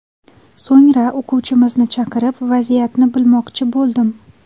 So‘ngra o‘quvchimizni chaqirib, vaziyatni bilmoqchi bo‘ldim.